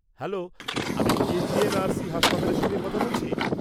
Hello, আমি কি GNRC হাসপাতালের সঙ্গে কথা বলছি?